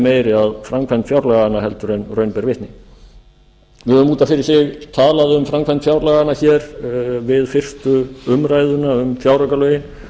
sómi að framkvæmd fjárlaganna heldur en raun ber vitni nú er út af fyrir sig talað um framkvæmd fjárlaganna við fyrstu umræðu um fjáraukalögin